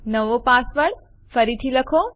નવો પાસવર્ડ ફરીથી લખો